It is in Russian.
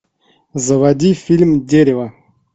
заводи фильм дерево